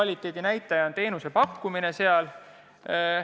Või näitab kvaliteeti teenuse pakkumine?